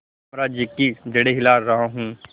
साम्राज्य की जड़ें हिला रहा हूं